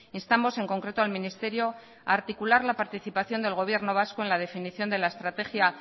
instamos en concreto al ministerio a articular la participación del gobierno vasco en la definición de la estrategia